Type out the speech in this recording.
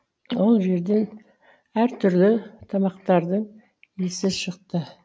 ол жерден әртүрлі тамақтардың иісі шықты